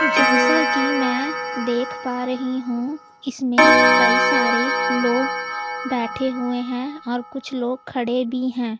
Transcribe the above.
जैसा कि मैं देख पा रही हूं इसमें कई सारे लोग बैठे हुए हैं और कुछ लोग खड़े भी हैं।